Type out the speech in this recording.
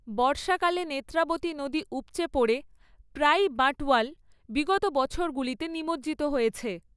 বর্ষাকালে নেত্রাবতী নদী উপচে পড়ে প্রায়ই বাঁটওয়াল বিগত বছরগুলিতে নিমজ্জিত হয়েছে।